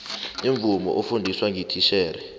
imvumo ofundiswa ngititjhere